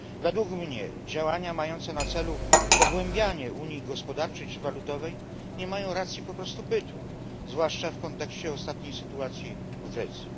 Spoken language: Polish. Według mnie działania mające na celu pogłębianie unii gospodarczej i walutowej nie mają po prostu racji bytu, zwłaszcza w kontekście obecnej sytuacji w Grecji.